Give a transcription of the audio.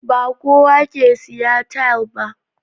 Ba kowa ke siya taile ba